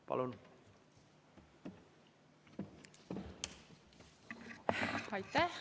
Palun!